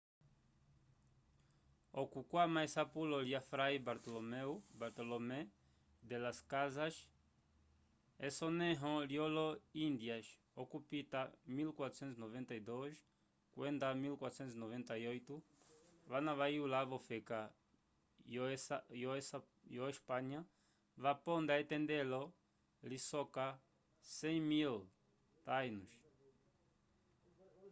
okukwama esapulo lya fray bartolomé de las casas esonẽho lyolo indias okupita 1492 kwenda 1498 vana vayula v’ofeka yo esapnya vaponda etendelo lisoka 100.000 taínos